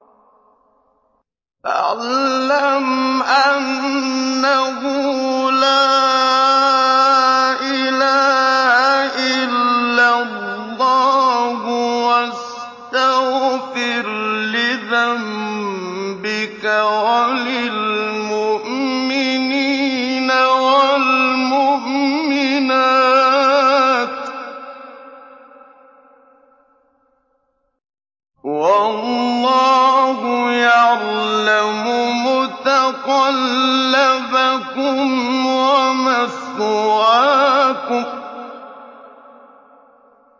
فَاعْلَمْ أَنَّهُ لَا إِلَٰهَ إِلَّا اللَّهُ وَاسْتَغْفِرْ لِذَنبِكَ وَلِلْمُؤْمِنِينَ وَالْمُؤْمِنَاتِ ۗ وَاللَّهُ يَعْلَمُ مُتَقَلَّبَكُمْ وَمَثْوَاكُمْ